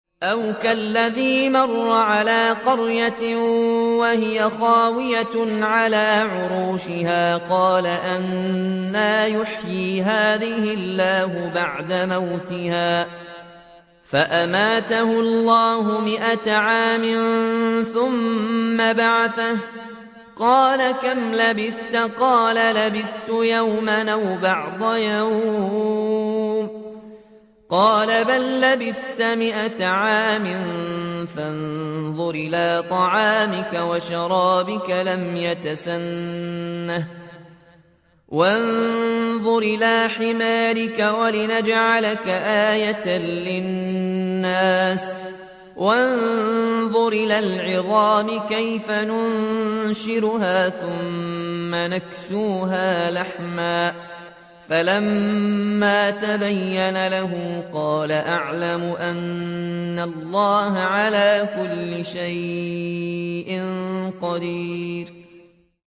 أَوْ كَالَّذِي مَرَّ عَلَىٰ قَرْيَةٍ وَهِيَ خَاوِيَةٌ عَلَىٰ عُرُوشِهَا قَالَ أَنَّىٰ يُحْيِي هَٰذِهِ اللَّهُ بَعْدَ مَوْتِهَا ۖ فَأَمَاتَهُ اللَّهُ مِائَةَ عَامٍ ثُمَّ بَعَثَهُ ۖ قَالَ كَمْ لَبِثْتَ ۖ قَالَ لَبِثْتُ يَوْمًا أَوْ بَعْضَ يَوْمٍ ۖ قَالَ بَل لَّبِثْتَ مِائَةَ عَامٍ فَانظُرْ إِلَىٰ طَعَامِكَ وَشَرَابِكَ لَمْ يَتَسَنَّهْ ۖ وَانظُرْ إِلَىٰ حِمَارِكَ وَلِنَجْعَلَكَ آيَةً لِّلنَّاسِ ۖ وَانظُرْ إِلَى الْعِظَامِ كَيْفَ نُنشِزُهَا ثُمَّ نَكْسُوهَا لَحْمًا ۚ فَلَمَّا تَبَيَّنَ لَهُ قَالَ أَعْلَمُ أَنَّ اللَّهَ عَلَىٰ كُلِّ شَيْءٍ قَدِيرٌ